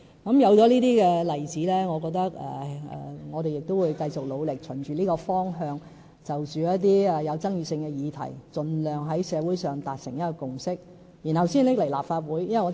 鑒於有這些例子，我認為我們也要繼續努力，循着這個方向，就着一些具爭議性的議題，盡量在社會上達成共識，然後才提交立法會。